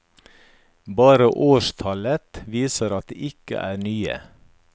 Bare årstallet viser at de ikke er nye.